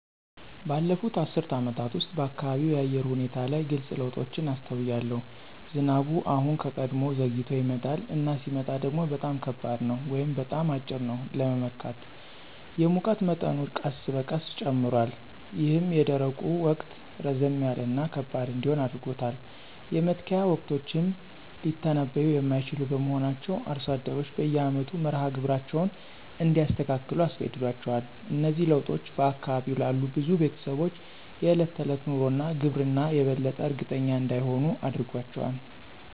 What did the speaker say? ባለፉት አስርት ዓመታት ውስጥ፣ በአካባቢው የአየር ሁኔታ ላይ ግልጽ ለውጦችን አስተውያለሁ። ዝናቡ አሁን ከቀድሞው ዘግይቶ ይመጣል፣ እና ሲመጣ ደግሞ በጣም ከባድ ነው ወይም በጣም አጭር ነው ለመመካት። የሙቀት መጠኑ ቀስ በቀስ ጨምሯል, ይህም የደረቁ ወቅት ረዘም ያለ እና ከባድ እንዲሆን አድርጎታል. የመትከያ ወቅቶችም ሊተነብዩ የማይችሉ በመሆናቸው አርሶ አደሮች በየአመቱ መርሃ ግብራቸውን እንዲያስተካክሉ አስገድዷቸዋል. እነዚህ ለውጦች በአካባቢው ላሉ ብዙ ቤተሰቦች የዕለት ተዕለት ኑሮ እና ግብርና የበለጠ እርግጠኛ እንዳይሆኑ አድርጓቸዋል።